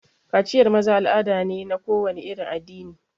Kaciyar maza al'ada ne na kowane irin addini.